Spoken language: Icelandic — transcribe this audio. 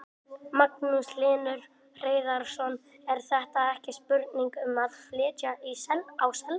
Magnús Hlynur Hreiðarsson: Er þetta ekki spurning um að flytja á Selfoss?